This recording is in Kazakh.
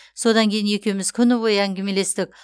содан кейін екеуіміз күні бойы әңгімелестік